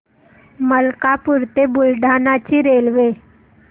मलकापूर ते बुलढाणा ची रेल्वे